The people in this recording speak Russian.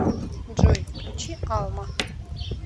джой включи алма